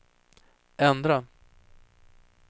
ändra